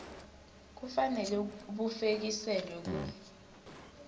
kufanele bufekiselwe ku